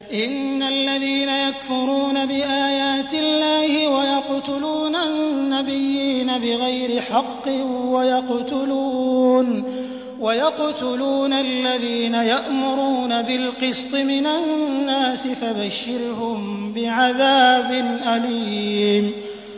إِنَّ الَّذِينَ يَكْفُرُونَ بِآيَاتِ اللَّهِ وَيَقْتُلُونَ النَّبِيِّينَ بِغَيْرِ حَقٍّ وَيَقْتُلُونَ الَّذِينَ يَأْمُرُونَ بِالْقِسْطِ مِنَ النَّاسِ فَبَشِّرْهُم بِعَذَابٍ أَلِيمٍ